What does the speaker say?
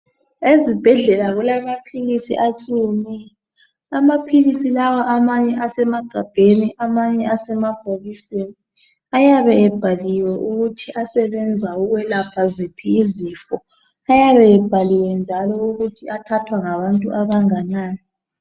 Ezibhedlela kulamaphilisi atshiyeneyo, amaphilisi lawa amanye asemagabheni amanye asemabhokisini, ayabe ebhaliwe ukuthi asebenza ukwelapha ziphi izifo ayabe ebhaliwe njalo ukuthi athathwa ngabantu abanganani.